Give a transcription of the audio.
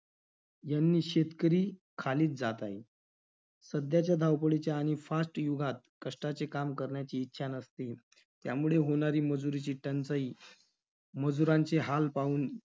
यांनी शेतकरी खालीच जात आहे. सध्याच्या धावपळीच्या आणि fast युगात कष्टाचे काम करण्याची इच्छा नसते. त्यामुळे होणारी मजुरीची टंचाई, मजुरांचे हाल पाहून